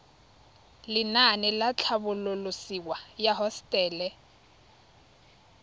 lenaane la tlhabololosewa ya hosetele